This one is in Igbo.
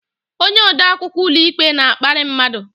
Onye ode akwụkwọ ụlọikpe na-akparị mmadụ.